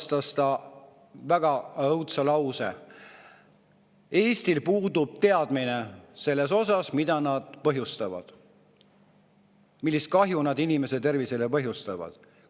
Ta ütles väga õudse lause, et Eestil puudub teadmine selle kohta, millist kahju nad inimese tervisele põhjustavad.